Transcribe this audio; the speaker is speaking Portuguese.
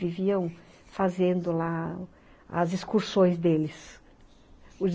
Viviam fazendo lá as excursões deles.